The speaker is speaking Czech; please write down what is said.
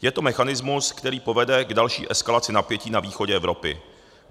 Je to mechanismus, který povede k další eskalaci napětí na východě Evropy.